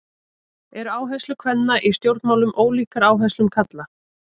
Eru áherslur kvenna í stjórnmálum ólíkar áherslum karla?